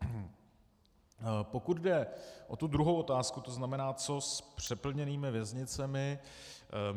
Pokud jde o tu druhou otázku, to znamená, co s přeplněnými věznicemi.